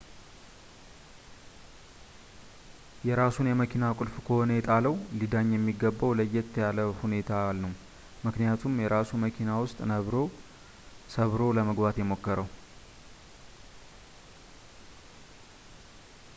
የራሱን የመኪና ቁልፍ ከሆነ የጣለው ሊዳኝ የሚገባው ለየት ባለ ሁኔታ ነው ምክንያቱም የራሱ መኪና ውስጥ ነበር ሰብሮ ለመግባት የሞከረው